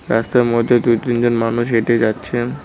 রাস্তার মধ্যে দুই তিনজন মানুষ হেঁটে যাচ্ছেন।